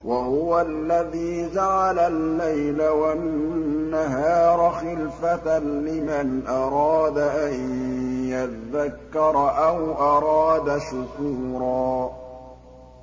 وَهُوَ الَّذِي جَعَلَ اللَّيْلَ وَالنَّهَارَ خِلْفَةً لِّمَنْ أَرَادَ أَن يَذَّكَّرَ أَوْ أَرَادَ شُكُورًا